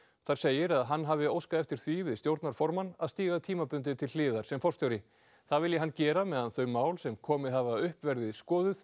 þar segir að hann hafi óskað eftir því við stjórnarformann að stíga tímabundið til hliðar sem forstjóri það vilji hann gera meðan þau mál sem komið hafa upp verði skoðuð